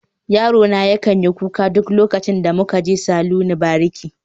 Yarona yakan yi kuka duk lokacin da muka je saloni bariki